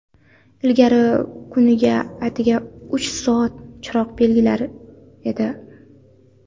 Ilgari kuniga atigi uch soat chiroq berilar edi.